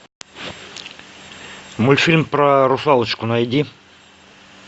мультфильм про русалочку найди